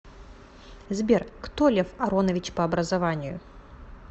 сбер кто лев аронович по образованию